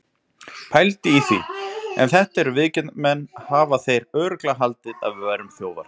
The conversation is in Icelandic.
Pældu í því. ef þetta eru viðgerðarmenn hafa þeir örugglega haldið að við værum þjófar!